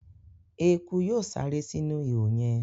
ẹkú yóò sáré sinu ihò yén.